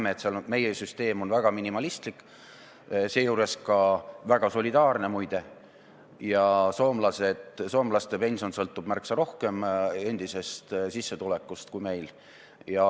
Me näeme, et meie süsteem on väga minimalistlik, seejuures väga solidaarne, muide, ja et soomlase pension sõltub märksa rohkem tema endisest sissetulekust kui meil.